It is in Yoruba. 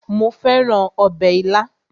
Mo fẹ́ràn ọbẹ̀ ilá